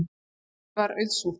Málið var auðsótt.